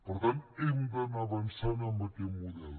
per tant hem d’anar avançant amb aquest model